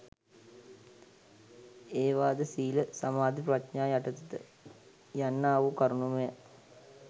ඒවාද සීල සමාධි ප්‍රඥා යටතට යන්නාවූ කරුණුමය.